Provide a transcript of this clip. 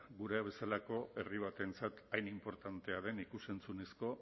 gurea bezalako herri batentzat hain inportantea den ikus entzunezko